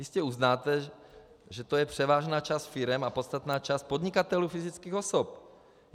Jistě uznáte, že to je převážná část firem a podstatná část podnikatelů fyzických osob.